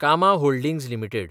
कामा holdings limited